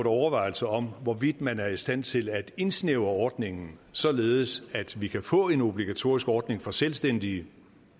overvejelser om hvorvidt man er i stand til at indsnævre ordningen således at vi kan få en obligatorisk ordning for selvstændige